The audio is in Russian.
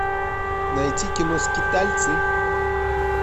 найти кино скитальцы